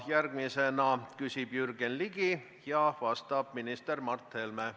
Järgmisena küsib Jürgen Ligi, vastab minister Mart Helme.